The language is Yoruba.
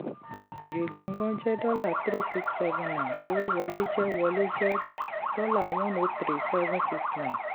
èrè gangan jẹ́ dollar three six seven nine owó wọlé jẹ́ wọlé jẹ́ dollar one o three seven six nine